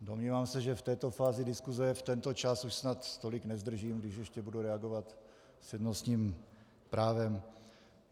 Domnívám se, že v této fázi diskuze, v tento čas už snad tolik nezdržím, když ještě budu reagovat s přednostním právem.